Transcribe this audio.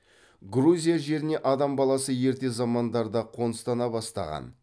грузия жеріне адам баласы ерте замандарда ақ қоныстана бастаған